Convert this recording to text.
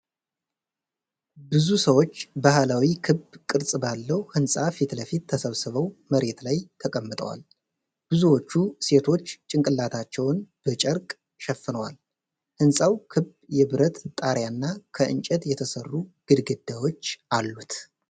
ብዙ ሰዎች በባህላዊ ክብ ቅርጽ ባለው ሕንፃ ፊት ለፊት ተሰብስበው መሬት ላይ ተቀምጠዋል። ብዙዎቹ ሴቶች ጭንቅላታቸውን በጨርቅ ሸፍነዋል። ሕንፃው ክብ የብረት ጣሪያና ከእንጨት የተሠሩ ግድግዳዎች አሉት።